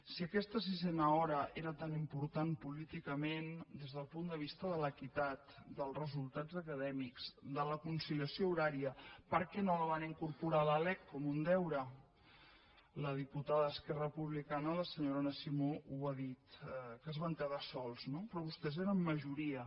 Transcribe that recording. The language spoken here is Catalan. si aquesta sisena hora era tan important políticament des del punt de vista de l’equitat dels resultats acadèmics de la conciliació horària per què no la van incorporar a la lec com un deure la diputada d’esquerra republicana la senyora anna simó ho ha dit que es van quedar sols no però vostès eren majoria